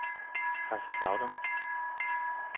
Kaiserslautern